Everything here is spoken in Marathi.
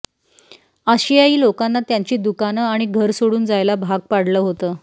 आशियाई लोकांना त्यांची दुकानं आणि घर सोडून जायला भाग पाडलं होतं